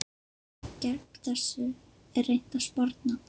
Gegn þessu er reynt að sporna.